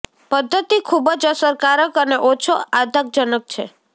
પદ્ધતિ ખૂબ જ અસરકારક અને ઓછો આઘાતજનક છે